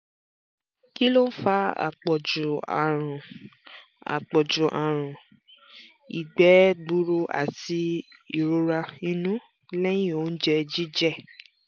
kí ló ń fa àpọ̀ju àrùn àpọ̀ju àrùn ìgbẹ́ gburú àti ìrora inú lẹ́yìn oúnjẹ jíjẹ?